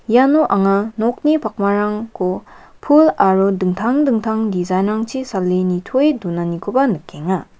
iano anga nokni pakmarangko pul aro dingtang dingtang dijain rangchi sale nitoe donanikoba nikenga.